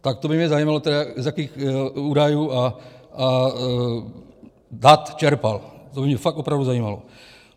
Tak to by mě zajímalo, z jakých údajů a dat čerpal, to by mě fakt opravdu zajímalo.